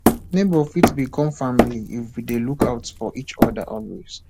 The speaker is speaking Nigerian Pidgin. neighbors fit become family if we dey look out for each other always